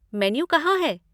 Menu कहाँ है?